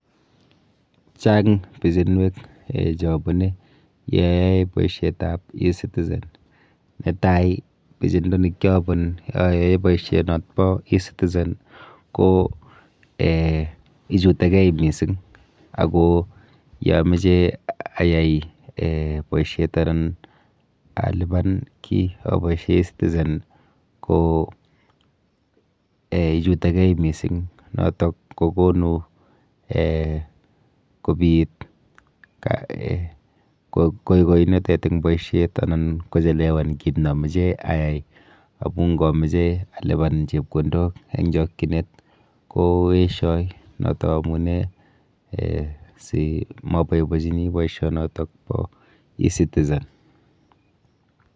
Chang pichinwek um cheabune yeayoe boishetap e-citizen. Netai pichindo nekiabun ayoe boishonot po e-citizen ko um ichutekei mising ako yoomoche ayai um boishet anan alipan kiy apoiahe e-citizen ko ichutekei mising noitok kokonu um kobit koikoinotet eng boishet anan kochelewan kit namoche ayai amu nkomeche alipan chepkondok eng chokchinet koeshoi noto amune um si moboibochini boishonotok po e-citizen.